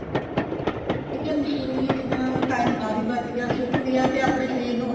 B ਕੇ ਮਸ਼ੀਨੀ ਜਿਦੇ ਨਾਲ time ਕਾਫੀ ਬੱਚ ਗਿਆ ਤੇ ਸੁੱਖ ਵੀ ਐ ਆਪਣੇ ਸ਼ਰੀਰ ਨੂੰ